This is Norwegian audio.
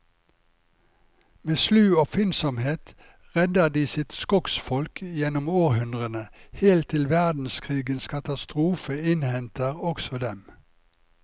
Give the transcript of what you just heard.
Med slu oppfinnsomhet redder de sitt skogsfolk gjennom århundrene, helt til verdenskrigens katastrofe innhenter også dem.